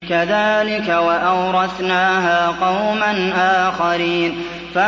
كَذَٰلِكَ ۖ وَأَوْرَثْنَاهَا قَوْمًا آخَرِينَ